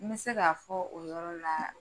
N bɛ se k'a fɔ o yɔrɔ la